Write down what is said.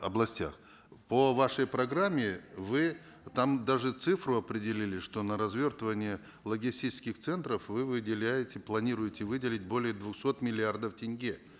областях по вашей программе вы там даже цифру определили что на развертывание логистических центров вы выделяете планируете выделить более двухсот миллиардов тенге